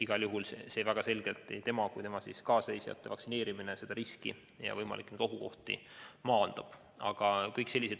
Igal juhul nii presidendid kui ka tema kaasreisijate vaktsineerimine aitab väga selgelt seda riski ja võimalikke ohukohti maandada.